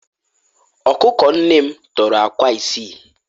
ọkụkọ nne m tọrọ akwa isii